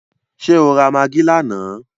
Ṣé o ra magí lánàá?